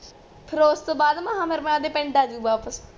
ਫੇਰ ਓਸ ਤੋਂ ਬਾਦ ਮੈਂ ਆਪ ਦੇ ਪਿੰਡ ਆਜੂ ਵਾਪਸ